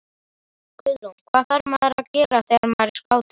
Guðrún: Hvað þarf maður að gera þegar maður er skáti?